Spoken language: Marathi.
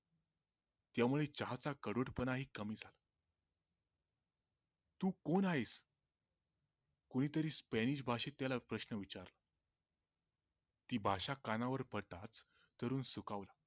त्या मुळे चहाचा कडवटपणाही कमी झाला तु कोण आहेस? कोणीतरी स्पॅनिश भाषेत त्याला प्रश्न विचारला ती भाषा कानावर पडतात तरुण सुखावला